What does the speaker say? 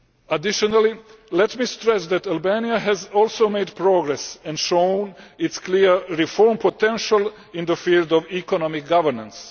Additionally, let me stress that Albania has also made progress and shown its clear reform potential in the field of economic governance.